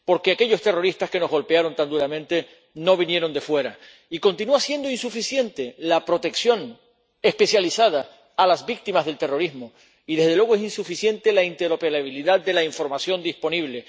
Porque aquellos terroristas que nos golpearon tan duramente no vinieron de fuera. Y continúa siendo insuficiente la protección especializada a las víctimas del terrorismo y, desde luego, es insuficiente la interoperabilidad de la información disponible.